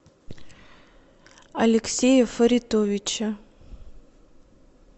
алексея фаритовича